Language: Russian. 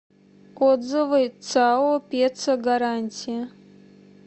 отзывы сао ресо гарантия